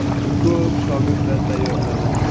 U ko‘p shogirdlar tayyorladi.